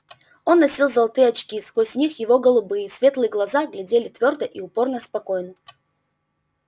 он носил золотые очки сквозь них его голубые светлые глаза глядели твёрдо и упорно-спокойно